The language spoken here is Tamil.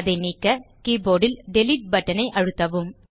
அதை நீக்க கீபோர்ட் ல் டிலீட் பட்டன் ஐ அழுத்தவும்